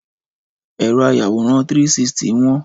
Ẹ̀rọ ayàwòrán 360 wọ́n